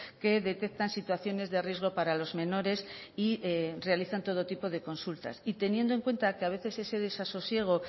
que detectan situaciones de riesgo para los menores y realizan todo tipo de consultas y teniendo en cuenta que a veces ese desasosiego